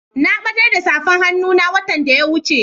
Na batar da safar hannun na watan da ya wuce.